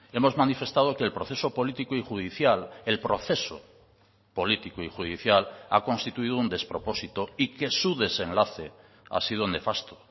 hemos manifestado que el proceso político y judicial el proceso político y judicial ha constituido un despropósito y que su desenlace ha sido nefasto